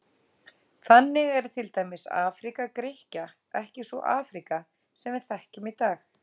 Þannig er til dæmis Afríka Grikkja ekki sú Afríka sem við þekkjum í dag.